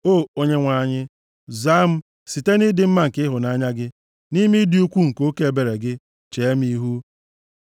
O Onyenwe anyị, zaa m, site nʼịdị mma nke ịhụnanya gị, nʼime ịdị ukwuu nke oke ebere gị, chee m ihu.